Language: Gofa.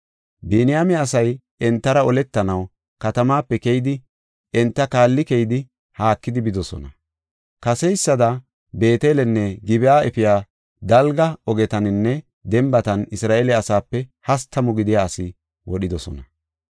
Biniyaame asay entara oletanaw katamaape keyidi, enta kaalli keyidi haakidi bidosona. Kaseysada Beetelenne Gib7a efiya dalga ogetaninne dembatan Isra7eele asaape hastamu gidiya asaa wodhidosona.